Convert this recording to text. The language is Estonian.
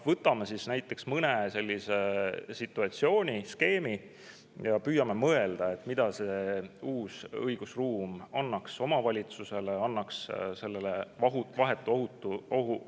Võtame näiteks mõne situatsiooni ja püüame mõelda, mida see uus õigusruum annaks omavalitsusele, annaks sellele vahetu ohu tundjale.